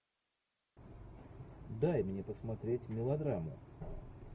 дай мне посмотреть мелодрамму